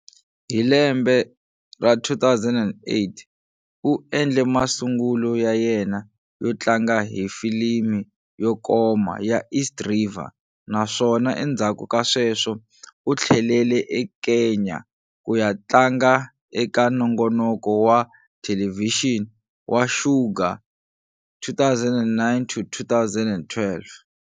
Hi lembe ra 2008, u endle masungulo ya yena yo tlanga hi filimi yo koma "ya East River" naswona endzhaku ka sweswo u tlhelele eKenya ku ya tlanga eka nongonoko wa thelevhixini"wa Shuga", 2009-2012.